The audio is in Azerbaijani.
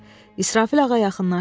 İsrafil ağa yaxınlaşırdı.